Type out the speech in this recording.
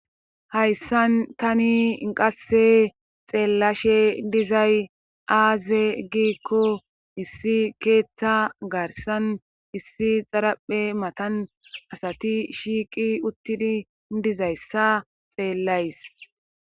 hayssan tani inqasse xeellashe dizay aaze giikko issi keeththa garsan issi xaraphe matan asati shiiqi uttidi dizayssa xeellays